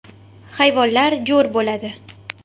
Hayvonlar jo‘r bo‘ladi.